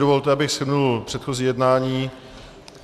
Dovolte, abych shrnul předchozí jednání.